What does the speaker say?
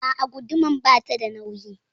A'a gudumar bata da nauyi.